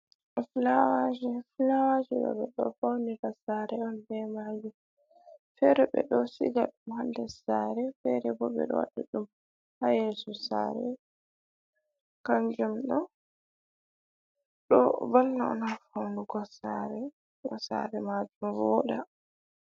Fulawaji, fulawaji ɗo ɓe ɗo faunira sare on be majum, fere ɓe ɗo siga ɗum ha ndir sare, fere bo ɓe ɗo waɗi ɗum ha yesu sare, kanjum ɗo ɗo valla on ha faunugo sare majum voɗa.